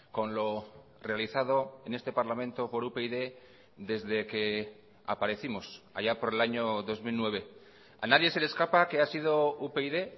con lo realizado en este parlamento por upyd desde que aparecimos allá por el año dos mil nueve a nadie se le escapa que ha sido upyd